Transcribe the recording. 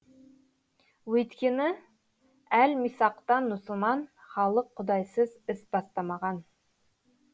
өйткені әл мисақтан мұсылман халық құдайсыз іс бастамаған